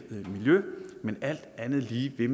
miljø men alt andet lige vil